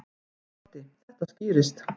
Broddi: Þetta skýrist.